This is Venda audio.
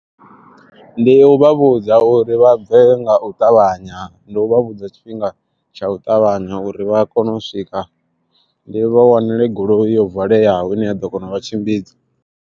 Ndi u vha vhudza uri vha bve nga u ṱavhanya. Ndi u vha vhudza tshifhinga tsha u ṱavhanya uri vha kone u swika, ndi vha wanele goloi yo valeaho ine ya ḓo kona u vha tshimbidza.